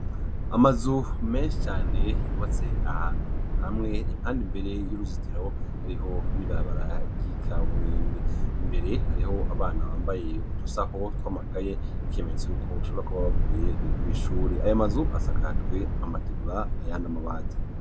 Amazu menshi cane yubatse ahantu hamwe impanda mbere y'uruzitiro hariho n'ibarabaragi kaburimbi. mbere hariho abana bambaye udusaho twamakaye n'ikyemenyetso yuko ashobora kuba bavuye ku'ishuri ayo amazu asakajwe amategura ayandi amabati.